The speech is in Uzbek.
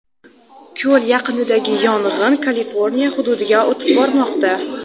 Ko‘l yaqinidagi yong‘in Kaliforniya hududiga o‘tib bormoqda.